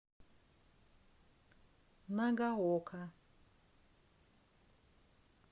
нагаока